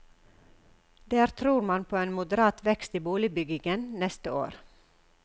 Der tror man på en moderat vekst i boligbyggingen neste år.